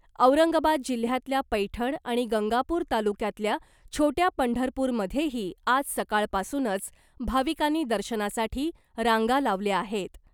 औरंगाबाद जिल्ह्यातल्या पैठण आणि गंगापूर तालुक्यातल्या छोट्या पंढरपूरमध्येही आज सकाळपासूनच भाविकांनी दर्शनासाठी रांगा लावल्या आहेत .